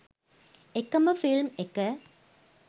එ‍ක‍ම ‍ෆිල්‍ම්‍ ‍එ‍ක